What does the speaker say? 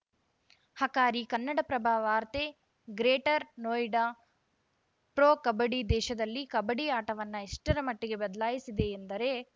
ಹಕಾರಿ ಕನ್ನಡಪ್ರಭ ವಾರ್ತೆ greater Noida pro kabaddi ದೇಶದಲ್ಲಿ ಕಬಡ್ಡಿ ಆಟವನ್ನು ಎಷ್ಟರ ಮಟ್ಟಿಗೆ ಬದಲಾಯಿಸಿದೆ ಎಂದರೆ